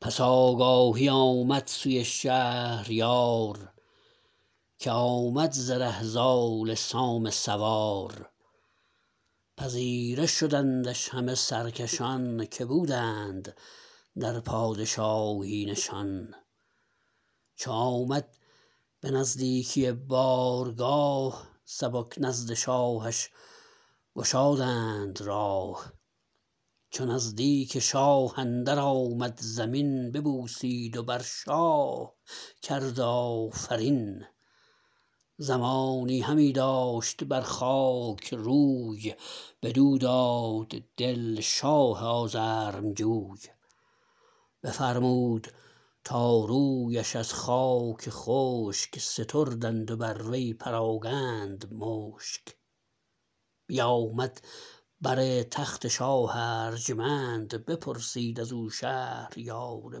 پس آگاهی آمد سوی شهریار که آمد ز ره زال سام سوار پذیره شدندش همه سرکشان که بودند در پادشاهی نشان چو آمد به نزدیکی بارگاه سبک نزد شاهش گشادند راه چو نزدیک شاه اندر آمد زمین ببوسید و بر شاه کرد آفرین زمانی همی داشت بر خاک روی بدو داد دل شاه آزرمجوی بفرمود تا رویش از خاک خشک ستردند و بر وی پراگند مشک بیامد بر تخت شاه ارجمند بپرسید ازو شهریار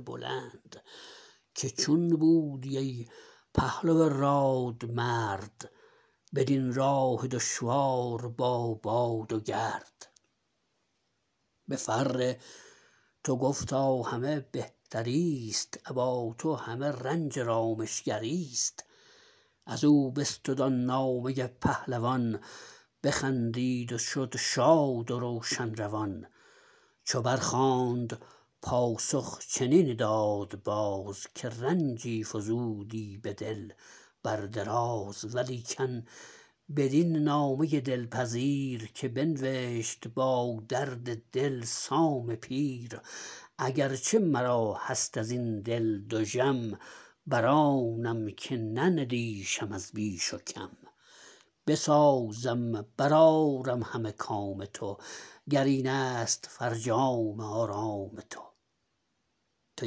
بلند که چون بودی ای پهلو راد مرد بدین راه دشوار با باد و گرد به فر تو گفتا همه بهتریست ابا تو همه رنج رامشگریست ازو بستد آن نامه پهلوان بخندید و شد شاد و روشن روان چو بر خواند پاسخ چنین داد باز که رنجی فزودی به دل بر دراز ولیکن بدین نامه دلپذیر که بنوشت با درد دل سام پیر اگر چه مرا هست ازین دل دژم برانم که نندیشم از بیش و کم بسازم برآرم همه کام تو گر اینست فرجام آرام تو تو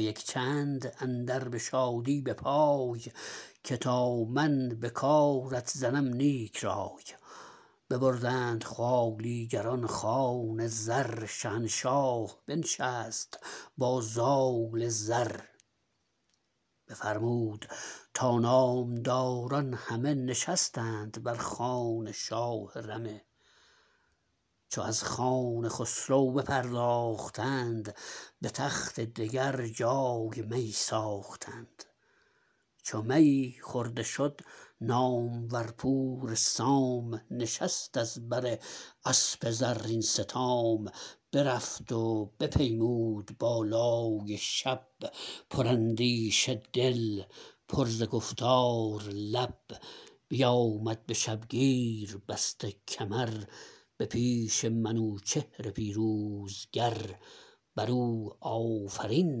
یک چند اندر به شادی به پای که تا من به کارت زنم نیک رای ببردند خوالیگران خوان زر شهنشاه بنشست با زال زر بفرمود تا نامداران همه نشستند بر خوان شاه رمه چو از خوان خسرو بپرداختند به تخت دگر جای می ساختند چو می خورده شد نامور پور سام نشست از بر اسپ زرین ستام برفت و بپیمود بالای شب پر اندیشه دل پر ز گفتار لب بیامد به شبگیر بسته کمر به پیش منوچهر پیروزگر برو آفرین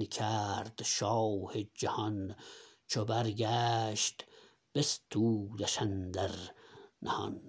کرد شاه جهان چو برگشت بستودش اندر نهان